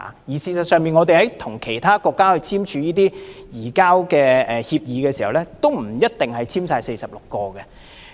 事實上，我們跟其他國家簽署移交逃犯協定時，也不一定全部納入這46項罪類。